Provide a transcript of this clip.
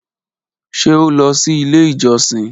Ṣe o lọ si ile ijosin?